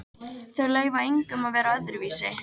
Þau leyfa engum að vera öðruvísi.